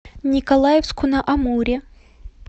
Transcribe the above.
николаевску на амуре